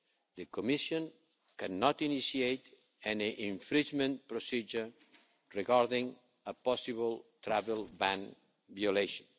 The Commission cannot initiate any infringement procedure regarding a possible travel ban violation.